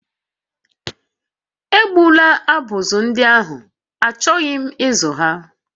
Egbula abụzụ ndị ahụ, achọrọ m ịzụ ha